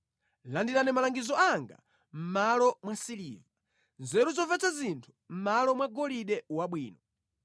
Landirani malangizo anga mʼmalo mwa siliva, nzeru zomvetsa zinthu mʼmalo mwa golide wabwino.